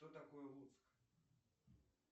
кто такой луцк